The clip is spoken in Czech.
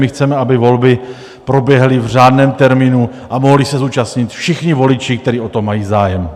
My chceme, aby volby proběhly v řádném termínu a mohli se zúčastnit všichni voliči, kteří o to mají zájem.